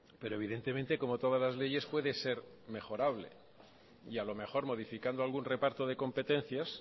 pero evidentemente como todas las leyes puede ser mejorables y a lo mejor modificando algún reparto de competencias